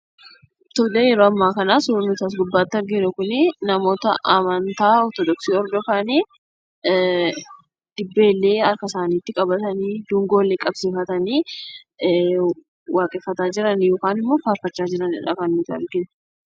Tolee, yeroo ammaa kana surri nuti as gubbatti arginu kunii ,namoota amantaa ortoodoksii hordoofanii. Dibbeellee harka isaanitti qabatanii, dungoollee qabsiifatanii, waaqeeffataa jiran yookaan immoo farfataa jiraniidha kan nuti arginu.